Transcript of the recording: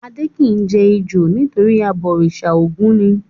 Adé kì í jẹ ejò nítorí abọ̀rìṣà Ògún ni.